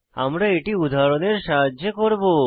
আমরা এটি উদাহরণের সাহায্যে করব